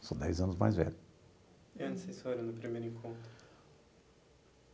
Eu sou dez anos mais velho. E onde vocês foram no primeiro encontro?